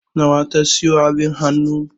Nawa ta sayo abin hannu?